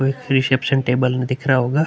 एक reception table भी दिख रहा होगा।